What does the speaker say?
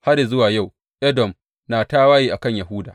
Har yă zuwa yau Edom na tawaye a kan Yahuda.